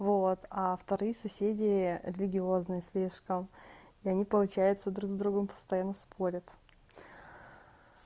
вот а вторые соседи религиозные слишком я не получается друг с другом постоянно спорят